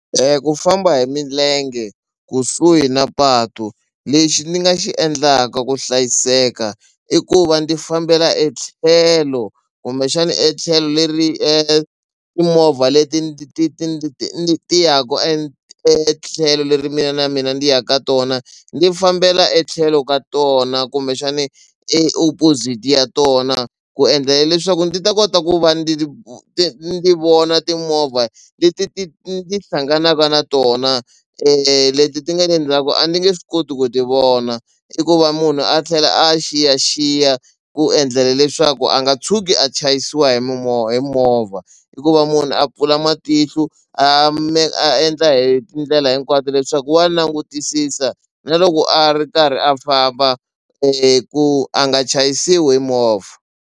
Ku famba hi milenge kusuhi na patu lexi ni nga xi endlaka ku hlayiseka i ku va ndzi fambela etlhelo kumbexana etlhelo leri timovha leti ndzi ti ti ti ti yaka e etlhelo leri mina na mina ndi ya ka tona ndzi fambela etlhelo ka tona kumbexani e opposite ya tona ku endlela leswaku ndi ta kota ku va ndi ni vona timovha leti ti ti ti hlanganaka na tona leti ti nga endzhaku a ndzi nge swi koti ku ti vona i ku va munhu a tlhela a xiyaxiya ku endlela leswaku a nga tshuki a chayisiwa hi hi movha i ku va munhu a pfula matihlo a ma a endla hi tindlela hinkwato leswaku wa langutisisa na loko a ri karhi a famba ku a nga chayisiwi movha.